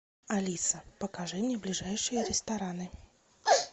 алиса покажи мне ближайшие рестораны